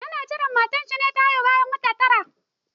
Yana jiran matar shi ta haihu bayan wata tara.